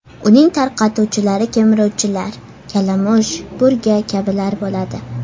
Uning tarqatuvchilari kemiruvchilar – kalamush, burga kabilar bo‘ladi.